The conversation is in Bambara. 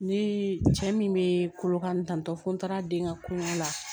Ne ye cɛ min bɛ kolokantɔ fo n taara den ka kolo la